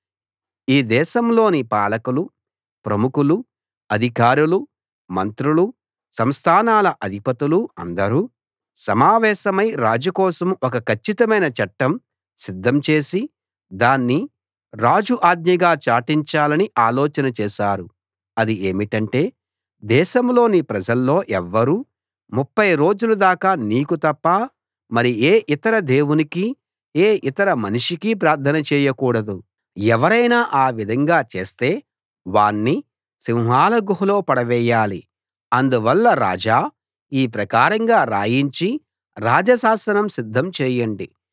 ఈ దేశంలోని పాలకులు ప్రముఖులు అధికారులు మంత్రులు సంస్థానాల అధిపతులు అందరూ సమావేశమై రాజు కోసం ఒక కచ్చితమైన చట్టం సిద్ధం చేసి దాన్ని రాజు ఆజ్ఞగా చాటించాలని ఆలోచన చేశారు అది ఏమిటంటే దేశంలోని ప్రజల్లో ఎవ్వరూ 30 రోజుల దాకా నీకు తప్ప మరి ఏ ఇతర దేవునికీ ఏ ఇతర మనిషికీ ప్రార్థన చేయకూడదు ఎవరైనా ఆ విధంగా చేస్తే వాణ్ణి సింహాల గుహలో పడవేయాలి అందువల్ల రాజా ఈ ప్రకారంగా రాయించి రాజ శాసనం సిద్ధం చేయండి